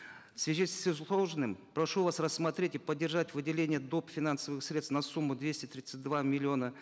в связи с изложенным прошу вас рассмотреть и поддержать выделение доп финансовых средств на сумму двести тридцать два миллиона